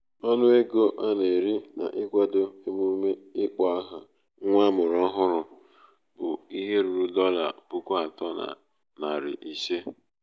ọnụ ego a na-eri n'ịkwado a na-eri n'ịkwado emume ịkpọ aha nwa amụrụ ọhụrụ bụ ihe ruru dolla puku atọ na narị ise.